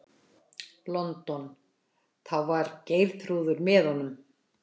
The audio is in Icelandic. London, þá var Geirþrúður með honum.